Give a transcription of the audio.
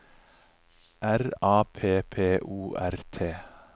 R A P P O R T